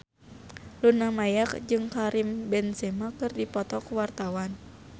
Luna Maya jeung Karim Benzema keur dipoto ku wartawan